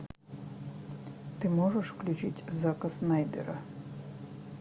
ты можешь включить зака снайдера